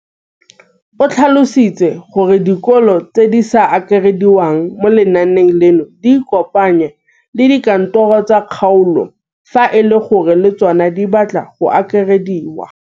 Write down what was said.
O tlhalositse gore dikolo tse di sa akarediwang mo lenaaneng leno di ikopanye le dikantoro tsa kgaolo fa e le gore le tsona di batla go akarediwa.